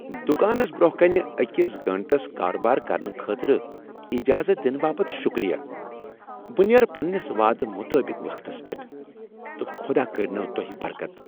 دکانس برٛونٛہہ کنہ اکس گٲنٛٹس کارٕبار کرنہٕ خٲطرٕ اجازت دنہ باپت شکریہ بہٕ نیرٕ پنٛنس وعد مطابق وقتس پیٹھ تہٕ خداہ کٔرۍنوٕ تۄہہ برکت۔